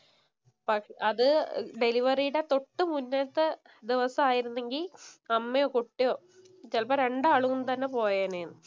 But അത് ഡെലിവറീടെ തൊട്ട് മുമ്പത്തെ ദിവസം ആയിരുന്നെങ്കി അമ്മയോ, കുട്ടിയോ ചെലപ്പോ രണ്ടാളും തന്നെ പോയേനെ എന്ന്.